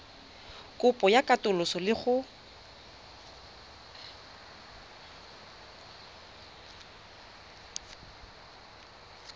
kopo ya katoloso le go